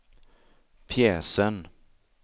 pjäsen